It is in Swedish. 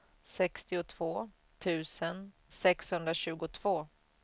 sextiotvå tusen sexhundratjugotvå